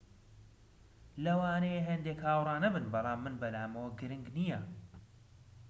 ‎ ‎لەوانەیە هەندێک هاوڕا نەبن بەڵام من بەلامەوە گرنگ نییە